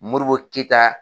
Moribo keyita